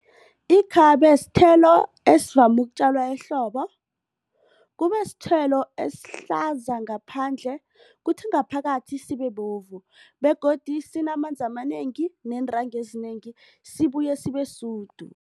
Ikhabe sithelo esivame ukutjalwa ehlobo kubasithelo esihlaza ngaphandle kuthi ngaphakathi sibebovu begodu sinamanzi amanengi neentanga ezinengi sibuye sibesudu.